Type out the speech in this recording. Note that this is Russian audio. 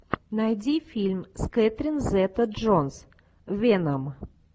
найди фильм с кэтрин зета джонс веном